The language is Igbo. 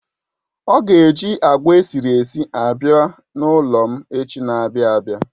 Ọ ga eji agwa esiri esi abia n'ulom echi n'abia abia